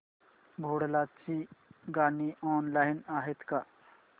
भोंडला ची गाणी ऑनलाइन आहेत का